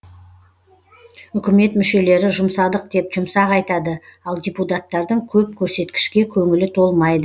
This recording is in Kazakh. үкімет мүшелері жұмсадық деп жұмсақ айтады ал депутаттардың көп көрсеткішке көңілі толмайды